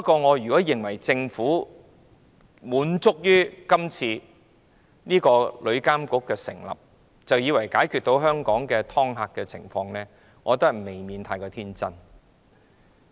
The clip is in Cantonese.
我認為如果政府滿足於成立旅監局，以為這樣便可解決香港的"劏客"情況，未免過於天真。